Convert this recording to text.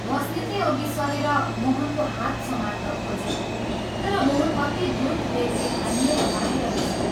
बस्नेतले अघि सरेर मोहनको हात समात्न खोजे तर मोहन अति द्रुत वेगले हानिएर बाहिर निस्क्यो।